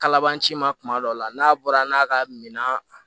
Kalaban ci ma tuma dɔ la n'a bɔra n'a ka minan